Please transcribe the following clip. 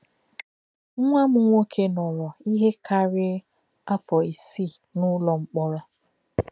Nwá m̀ nwó̄ké nọ́rò íhè kárị̀í̄ áfọ̀ ísìí n’ùló̄ mkpó̄rọ̀.